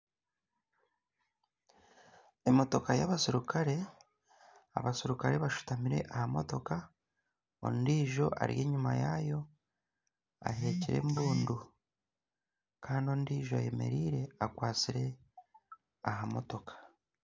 Emotoka y'abaserukare abaserukare bashutamire aha motoka, ondijo ari enyima yaayo ahekire embundu kandi ondiijo ayemereire akwatsire aha motoka.